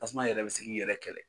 Tasuma yɛrɛ bɛ se k'i yɛrɛ kɛlɛ.